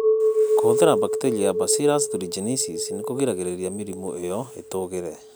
Kũhũthĩra bakteria ya Bacillus thuringiensis nĩ kũgiragia mĩrimũ ĩyo ĩtũgĩre